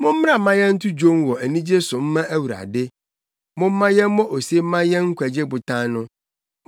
Mommra mma yɛnto dwom wɔ anigye so mma Awurade; momma yɛmmɔ ose mma yɛn nkwagye Botan no.